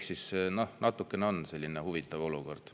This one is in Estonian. See on natukene huvitav olukord.